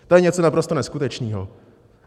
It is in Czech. To je něco naprosto neskutečného.